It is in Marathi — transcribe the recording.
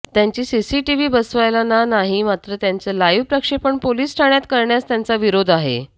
त्यांची सीसीटिव्ही बसवायला ना नाही मात्र त्याचे लाईव्ह प्रक्षेपण पोलिस ठाण्यात करण्यास त्यांचा विरोध आहे